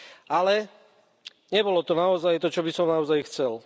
Ale, nebolo to naozaj to, čo by som naozaj chcel.